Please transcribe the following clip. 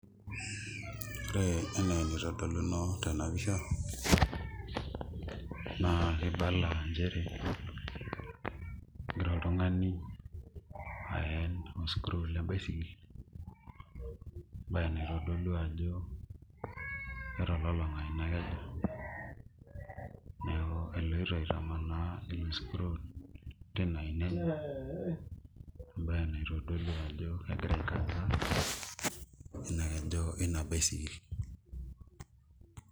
Ore ene anaitodoluno tena pisha, naa kibala nchere egira iltung'ana aen oo screw le baisikil. Naa eneitodolu ajo etololong'a ina keju neeku eloito aitamaana oo screw teina ina enye . Ebae naitodolu ajo egira aai kaza ina keju ina baisikil.